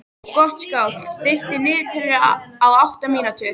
Gottskálk, stilltu niðurteljara á átta mínútur.